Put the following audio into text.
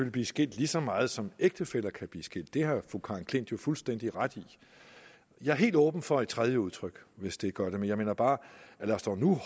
blive skilt lige så meget som ægtefæller kan blive skilt det har fru karen j klint jo fuldstændig ret i jeg er helt åben for et tredje udtryk hvis det kan gøre det men jeg mener bare lad os dog nu